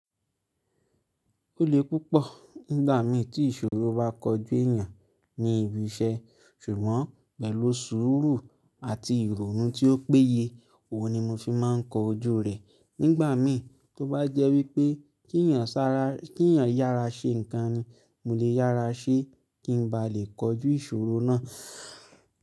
Ó le púpọ̀ nígbà mí tí ìṣòro bá kọjú èyàn ní ibi iṣẹ́, ṣùgbọ́n pẹ̀lú sùúrù àti ìrònú tí ó péye, òun ni mo fi máà ń kọ ojú rẹ̀. Nígbà mí tó bá jẹ́ wípé kí ẹ̀yàn yára ṣe ǹkan ni, mo lè yára ṣe kí ń bá lè kojú ìṣòro náà.